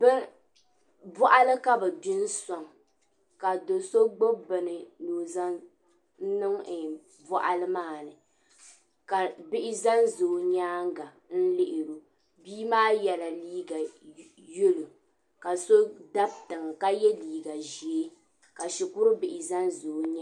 Bɔɣali ka bi gbi n sɔŋ ka do so gbubi bini ni o zan niŋ bɔɣali maa ni ka bihi zanza o nyaaŋa n lihi o bii maa yela liiga yalo ka so dabi tiŋa ka ye liiga ʒee ka shikurubihi zanza o nyaaŋa.